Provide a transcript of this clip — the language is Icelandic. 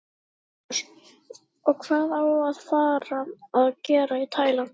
Magnús: Og hvað á að fara að gera í Tælandi?